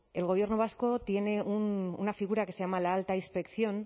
el gobierno vasco tiene una figura que se llama la alta inspección